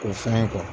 K'o fɛn